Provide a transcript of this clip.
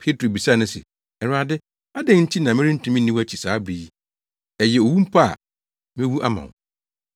Petro bisaa no se, “Awurade, adɛn nti na merentumi nni wʼakyi saa bere yi? Ɛyɛ owu mpo a, mewu ama wo.”